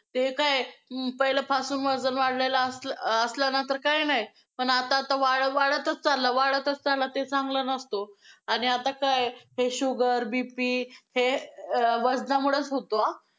ते काय पहिले पासून वजन वाढलेलं असलं ~ असलं ना तर काय नाही पण आता आता वाढत वाढतच चाललं, वाढतच चाललं आहे ते चांगलं नसतो आणि आता काय हे sugar BP हे वजनामुळेच होतो हा.